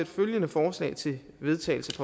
følgende forslag til vedtagelse